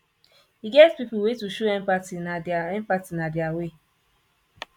e get pipu wey to show empathy na dia empathy na dia way